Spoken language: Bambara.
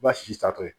I b'a si satɔ ye